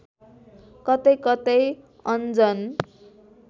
कतै कतै अन्जन